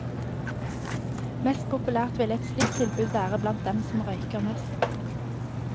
Mest populært ville et slikt tilbud være blant dem som røyker mest.